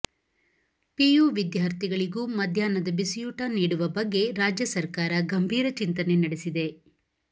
PU ವಿದ್ಯಾರ್ಥಿಗಳಿಗೂ ಮಧ್ಯಾಹ್ನದ ಬಿಸಿಯೂಟ ನೀಡುವ ಬಗ್ಗೆ ರಾಜ್ಯ ಸರ್ಕಾರ ಗಂಭೀರ ಚಿಂತನೆ ನಡೆಸಿದೆ